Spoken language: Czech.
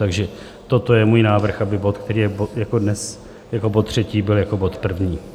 Takže toto je můj návrh, aby bod, který je dnes jako bod třetí, byl jako bod první.